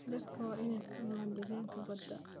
Dadku waa inay fahmaan deegaanka badda.